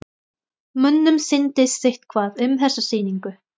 Mönnum sýndist sitthvað um þessa sýningu.